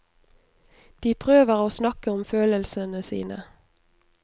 De prøver å snakke om følelsene sine.